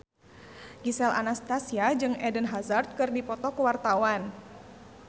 Gisel Anastasia jeung Eden Hazard keur dipoto ku wartawan